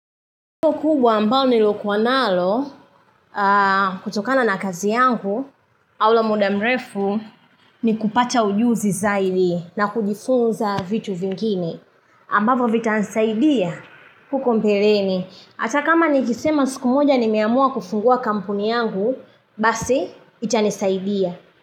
Iko kubwa ambalo niliokuwa nalo, kutokana na kazi yangu, aula muda mrefu, ni kupata ujuzi zaidi na kujifunza vitu vingine. Ambavyo vitanisaidia huko mbeleni. Hata kama nikisema siku moja nimeamua kufungua kampuni yangu, basi itanisaidia.